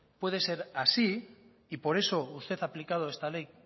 puede ser así y por eso usted ha aplicado esta ley